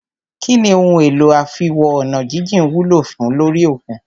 Kínní ohun èlò àfiwo-ọ̀nàjíjìn wúlò fùn ún lórí òkun?